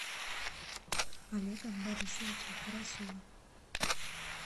олега борисовича карасева